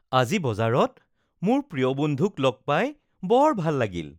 আজি বজাৰত মোৰ প্ৰিয় বন্ধুক লগ পাই বৰ ভাল লাগিল